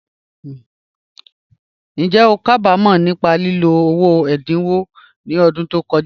Njẹ́ o ká bá mọ̀ nípa lílò ilẹ̀ ẹ̀dáńwò ni ọ̀dún tó kọja?